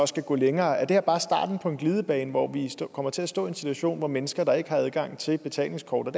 skal gå længere er det her bare starten på en glidebane hvor vi kommer til at stå i en situation hvor mennesker der ikke har adgang til betalingskort og